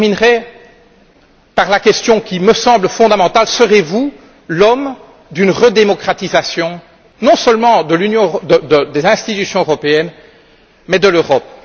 Je terminerai par la question qui me semble fondamentale serez vous l'homme d'une re démocratisation non seulement des institutions européennes mais de l'Europe?